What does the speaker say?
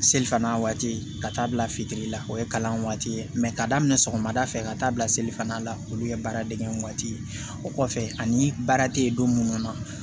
Selifana waati ka taa bila fitiri la o ye kalan waati ye ka daminɛ sɔgɔmada fɛ ka taa bila selifana la olu ye baara dege waati ye o kɔfɛ ani baara tɛ ye don mun na